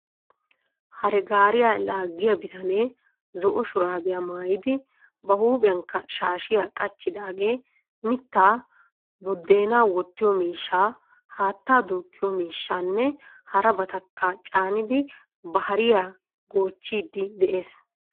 Hare gaariya laaggiyaa bitanee zo"o shuraabiya maayidi ba huuphiyankka shaashiya qachchidaagee mittaa, buddeenaa woottiyoo miishshaa, haatta duuqqiyoo miishshaanne harabatakka caanidi ba hariyaa goochiiddi de'ees.